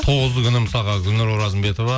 тоғызы күні мысалға гүлнар оразымбетова